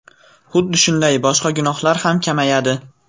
Xuddi shunday boshqa gunohlar ham kamayadi.